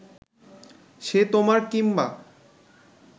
সে তোমার কিম্বা